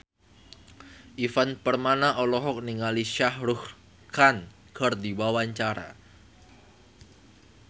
Ivan Permana olohok ningali Shah Rukh Khan keur diwawancara